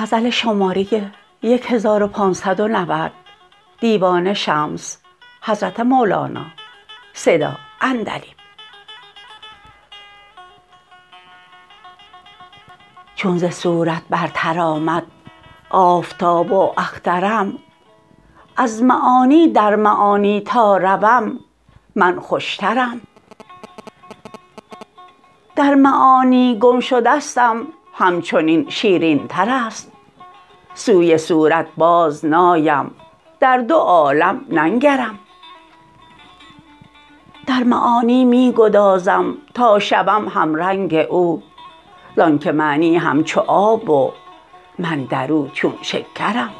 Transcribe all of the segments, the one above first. چون ز صورت برتر آمد آفتاب و اخترم از معانی در معانی تا روم من خوشترم در معانی گم شدستم همچنین شیرینتر است سوی صورت بازنایم در دو عالم ننگرم در معانی می گدازم تا شوم همرنگ او زانک معنی همچو آب و من در او چون شکرم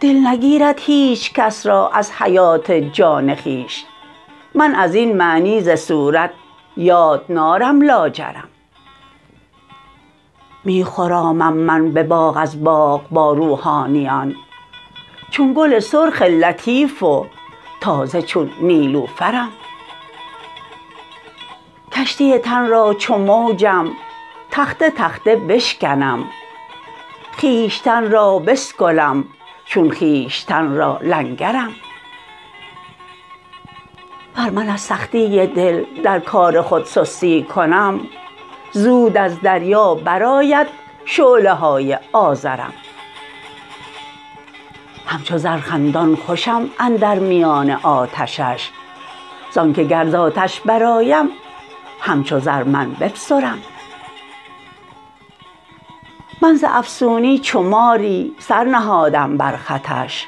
دل نگیرد هیچ کس را از حیات جان خویش من از این معنی ز صورت یاد نارم لاجرم می خرامم من به باغ از باغ با روحانیان چون گل سرخ لطیف و تازه چون نیلوفرم کشتی تن را چو موجم تخته تخته بشکنم خویشتن را بسکلم چون خویشتن را لنگرم ور من از سختی دل در کار خود سستی کنم زود از دریا برآید شعله های آذرم همچو زر خندان خوشم اندر میان آتشش زانک گر ز آتش برآیم همچو زر من بفسرم من ز افسونی چو ماری سر نهادم بر خطش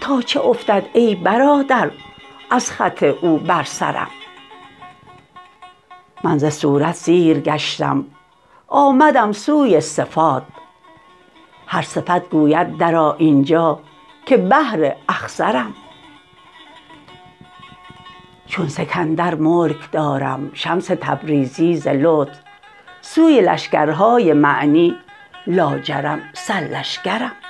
تا چه افتد ای برادر از خط او بر سرم من ز صورت سیر گشتم آمدم سوی صفات هر صفت گوید درآ این جا که بحر اخضرم چون سکندر ملک دارم شمس تبریزی ز لطف سوی لشکرهای معنی لاجرم سرلشکرم